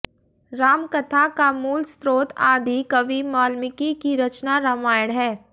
राम कथा का मूल स्रोत आदि कवि वाल्मीकि की रचना रामायण है